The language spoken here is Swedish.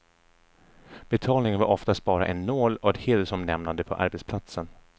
Betalningen var oftast bara en nål och ett hedersomnämnande på arbetsplatsen.